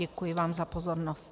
Děkuji vám za pozornost.